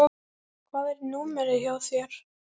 Hvað er númerið hjá þér?